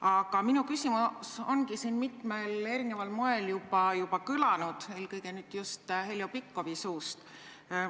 Aga minu küsimus on siin mitmel erineval moel juba kõlanud, eelkõige just Heljo Pikhofi suust.